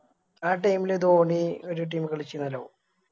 ആ Team ധോണി ഒരു Team കളിച്ചിന്നല്ലോ